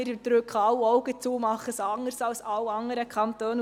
«Wir drücken alle Augen zu und machen es anders als alle anderen Kantone.»